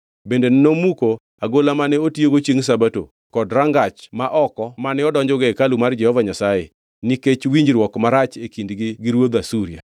Bende nomuko agola mane otiyogo chiengʼ Sabato kod rangach ma oko mane odonjogo e hekalu mar Jehova Nyasaye, nikech winjruok marach e kindgi gi ruodh Asuria.